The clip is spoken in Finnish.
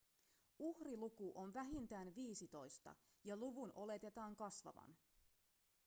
uhriluku on vähintään viisitoista ja luvun oletetaan kasvavan